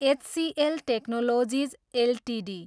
HCl Technologies Ltd